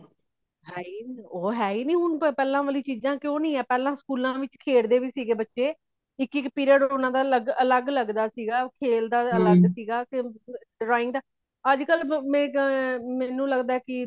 ਹੈ ਈ ਓਹ ਹ ਈ ਨਹੀਂ ਹੁਣ ਪਹਿਲਾ ਵਾਲੀ ਚੀਜਾਂ ਕਉ ਨਹੀਂ ਹੈ ਪਹਿਲਾ school ਆ ਵਿੱਚ ਖੇੜਦੇ ਵੀ ਸਨ ਬੱਚੇ, ਇਕ ਇਕ period ਓਨਾ ਦਾ ਅਲੱਗ ਲੱਗਦਾ ਸੀਗਾ, ਉਹ ਖੇਲਦਾ ਅਲੱਗ drawing ਦਾ ਅੱਜ ਕਲ ਮੈ ਮੇਨੂ ਲੱਗਦਾ ਕੀ